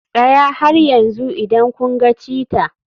Tsaya har yanzu idan kun ga cheetah.